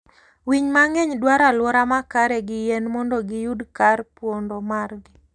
winy mang'eny dwaro aluora makare gi yien mondo gi yud kar pondo margi.